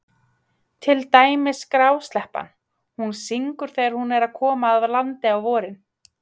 Til dæmis grásleppan, hún syngur þegar hún er að koma að landi á vorin.